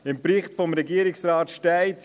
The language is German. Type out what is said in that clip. Im Bericht des Regierungsrates steht: